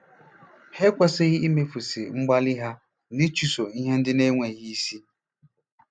Ha ekwesịghị imefusị mgbalị ha n'ịchụso ihe ndị na-enweghị isi.